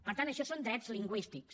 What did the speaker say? per tant això són drets lingüístics